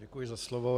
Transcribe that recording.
Děkuji za slovo.